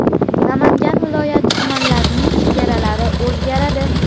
Namangan viloyati tumanlarining chegaralari o‘zgaradi.